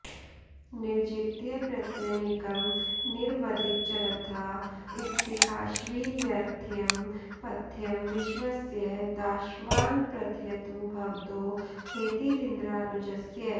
निर्जित्य प्रत्यनीकं निरवधिकचरद्धास्तिकाश्वीयरथ्यं पथ्यं विश्वस्य दाश्वान्प्रथयतु भवतो हेतिरिन्द्रानुजस्य